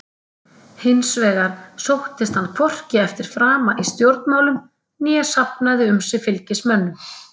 Hins vegar sóttist hann hvorki eftir frama í stjórnmálum né safnaði um sig fylgismönnum.